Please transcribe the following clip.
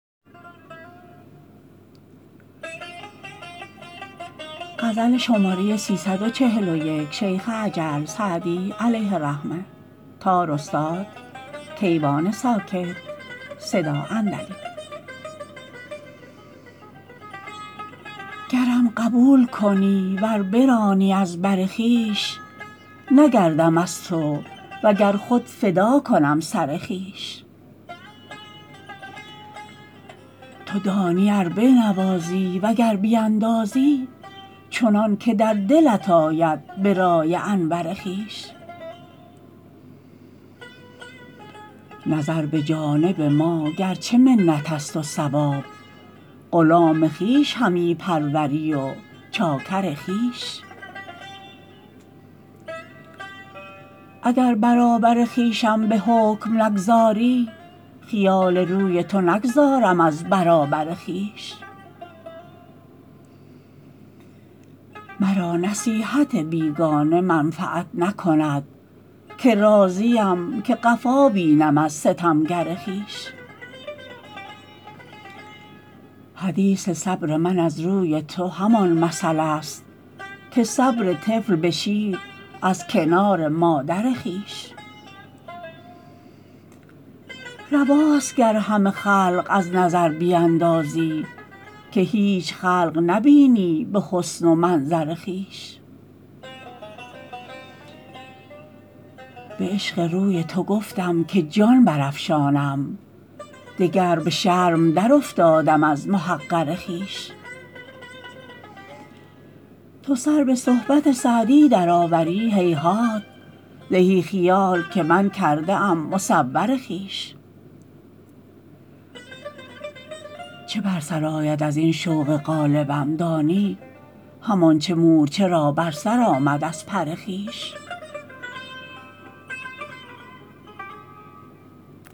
گرم قبول کنی ور برانی از بر خویش نگردم از تو و گر خود فدا کنم سر خویش تو دانی ار بنوازی و گر بیندازی چنان که در دلت آید به رأی انور خویش نظر به جانب ما گر چه منت است و ثواب غلام خویش همی پروری و چاکر خویش اگر برابر خویشم به حکم نگذاری خیال روی تو نگذارم از برابر خویش مرا نصیحت بیگانه منفعت نکند که راضیم که قفا بینم از ستمگر خویش حدیث صبر من از روی تو همان مثل است که صبر طفل به شیر از کنار مادر خویش رواست گر همه خلق از نظر بیندازی که هیچ خلق نبینی به حسن و منظر خویش به عشق روی تو گفتم که جان برافشانم دگر به شرم درافتادم از محقر خویش تو سر به صحبت سعدی درآوری هیهات زهی خیال که من کرده ام مصور خویش چه بر سر آید از این شوق غالبم دانی همان چه مورچه را بر سر آمد از پر خویش